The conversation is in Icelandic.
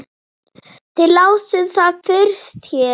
Þið lásuð það fyrst hér!